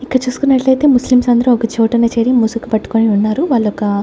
ఇక్కడ చూసుకున్నట్లైతే ముస్లిమ్స్ అందరూ ఒకచోటన చేరి ముసుగు పట్టుకొని ఉన్నారు వాళ్ళొక--